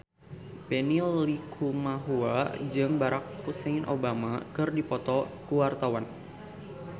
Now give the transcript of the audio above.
Benny Likumahua jeung Barack Hussein Obama keur dipoto ku wartawan